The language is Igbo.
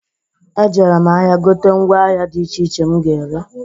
Ejere m ahịa gote mgwa ahịa dị iche iche m ga-ere.